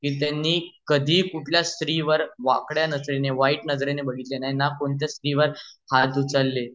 त्यांनी कधीही कुठल्या स्त्री वर वाकड्या नजरेने वाईट नजरेने बघितले नाही न कोणत्या स्त्री वर हात उचलले